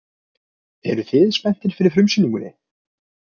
Eruð þið spenntir fyrir frumsýningunni?